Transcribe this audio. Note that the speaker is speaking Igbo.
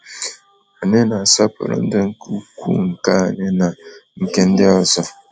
Anyị na asọpụrụ ndụ nke ukwuu nke anyị na nke ndị ọzọ.